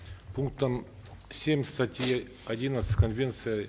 пунктом семь статьи одиннадцать конвенция